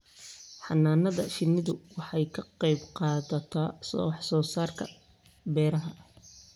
Xannaanada shinnidu waxay ka qayb qaadataa wax soo saarka beeraha.